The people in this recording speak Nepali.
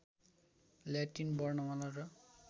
ल्याटिन वर्णमाला र